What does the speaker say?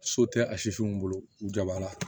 So tɛ a sifinw bolo u jabala